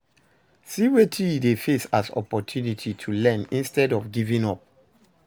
See wetin you de face as opportunity to learn instead of giving up